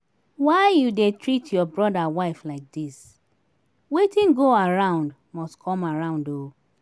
why you dey treat your brother wife like dis? wetin go around must come around oo